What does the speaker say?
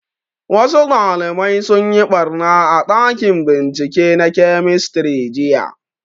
Wasu ɗalibai sun yi ɓarna a ɗakin bincike na kemistri jiya